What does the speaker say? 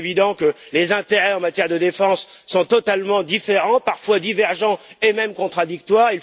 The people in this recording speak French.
Il est évident que les intérêts en matière de défense sont totalement différents, parfois divergents, et même contradictoires.